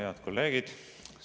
Head kolleegid!